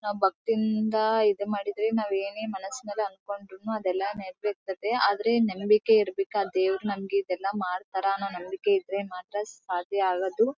ನಾವು ಭಕ್ತಿಯಿಂದ ಇದ್ ಮಾಡಿದ್ರೆ ನಾವ ಏನೇ ಮನಸ್ನಲ್ಲಿ ಅಂದ್ಕೊಂಡ್ರು ಅದೆಲ್ಲ ನೆರವೇರ್ತದೆ ಆದ್ರೆ ನಂಬಿಕೆ ಇರ್ಬೆಕ್ ಆಹ್ಹ್ ದೇವ್ರು ನಮಗೆ ಇದೆಲ್ಲ ಮಾಡ್ತಾರೆ ಅನ್ನೋ ನಂಬಿಕೆ ಇದ್ರೆ ಮಾತ್ರ ಸಾಧ್ಯ ಆಗೋದು .